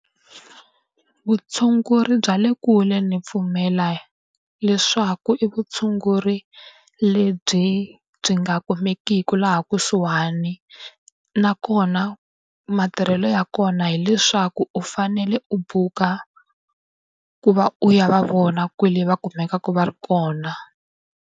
Vutshunguri bya le kule ni pfumela leswaku i vutshunguri lebyi byi nga kumekiki laha kusuhani. Nakona matirhelo ya kona hileswaku u fanele u buka ku va u ya va vona kwale va kumekaka va ri kona.